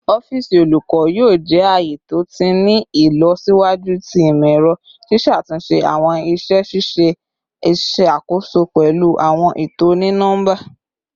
Ọfiisi olukọ yoo jẹ aaye to ti ni ilọsiwaju ti imọ-ẹrọ, ṣiṣatunṣe awọn iṣẹ ṣiṣe iṣakoso pẹlu awọn eto oni-nọmba.